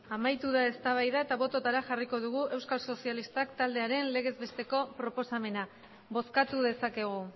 amaitu da eztabaida eta bototara euskal sozialistak taldearen legez besteko proposamena bozkatu dezakegu